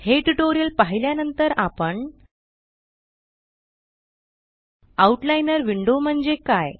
हे ट्यूटोरियल पाहिल्या नंतर आपण आउटलाइनर विंडो म्हणजे काय